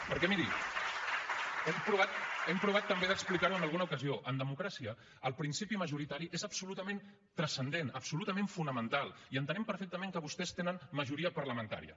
perquè miri hem provat també d’explicar ho en alguna ocasió en democràcia el principi majoritari és absolutament transcendent absolutament fonamental i entenem perfectament que vostès tenen majoria parlamentària